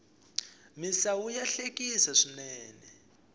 misawu ya hlekisa swinene